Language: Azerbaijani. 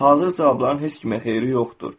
Hazır cavabların heç kimə xeyri yoxdur.